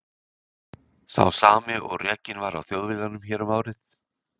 Sá sami og rekinn var af Þjóðviljanum hér um árið.